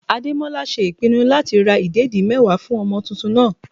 Ademola ṣe ìpinnu láti ra ìdẹ̀dí mẹ́wàá fún ọmọ tuntun náà.